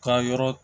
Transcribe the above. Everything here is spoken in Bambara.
Ka yɔrɔ